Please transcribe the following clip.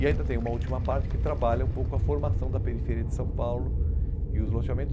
E ainda tem uma última parte que trabalha um pouco a formação da periferia de São Paulo e os lojamentos.